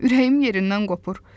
Ürəyim yerindən qopur.